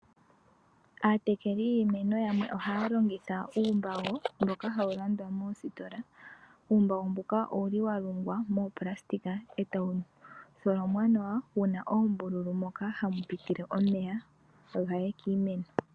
Aatekeli yiimeno yamwe ohaya longitha uumbago mboka hawu landwa moositola. Uumbago mbuka owu li wa longwa moopulasitika e tawu tholomwa nawa wu na oombululu moka hamu pitile omeya ga ye kiimeno.